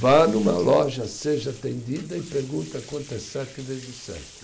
Vá numa loja, seja atendida e pergunta quanto é sete vezes sete.